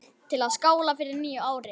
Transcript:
Til að skála í fyrir nýju ári.